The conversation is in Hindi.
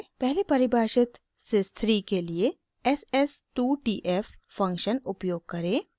पहले परिभाषित sys 3 के लिए ss 2 tf फंक्शन उपयोग करें